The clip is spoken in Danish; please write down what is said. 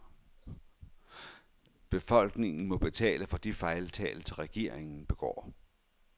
Befolkningen må betale for de fejltagelser, regeringen begår.